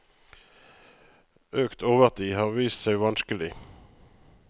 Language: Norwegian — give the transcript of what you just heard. Økt overtid har vist seg vanskelig.